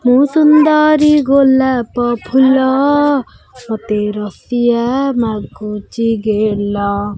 ମୁ ସୁନ୍ଦରୀ ଗୋଲାପ ଫୁଲ ମତେ ରସିଆ ମାଗୁଛି ଗେଲ।